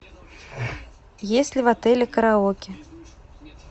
есть ли в отеле караоке